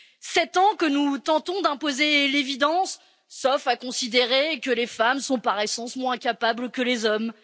Sept ans que nous tentons d'imposer l'évidence, sauf à considérer que les femmes sont par essence moins capables que les hommes.